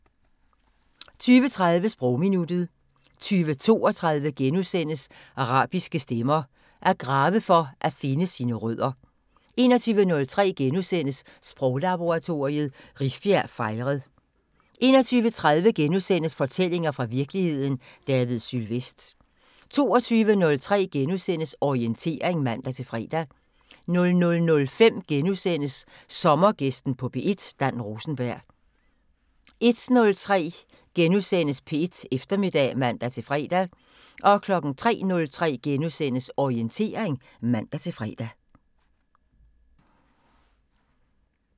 20:30: Sprogminuttet 20:32: Arabiske stemmer: At grave for at finde sine rødder * 21:03: Sproglaboratoriet: Rifbjerg fejret * 21:30: Fortællinger fra virkeligheden – David Sylvest * 22:03: Orientering *(man-fre) 00:05: Sommergæsten på P1: Dan Rosenberg * 01:03: P1 Eftermiddag *(man-fre) 03:03: Orientering *(man-fre)